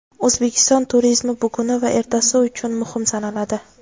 O‘zbekiston turizmi buguni va ertasi uchun muhim sanaladi.